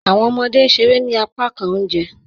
Awọn ọmọde n ṣèrè ní àpákàn ọ̀unjẹ